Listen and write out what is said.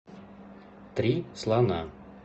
три слона